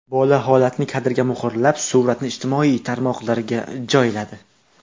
Bola holatni kadrga muhrlab, suratni ijtimoiy tarmoqlarga joyladi.